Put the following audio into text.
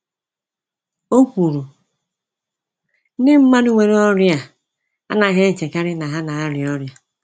O kwuru, ‘Ndị mmadụ nwere ọrịa a anaghị-echekarị na ha na-aria ọrịa.’